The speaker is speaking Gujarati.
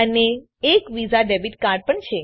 જે એક વિઝા ડેબીટ કાર્ડ પણ છે